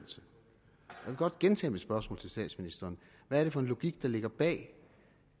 godt gentage mit spørgsmål til statsministeren hvad er det for en logik der ligger bag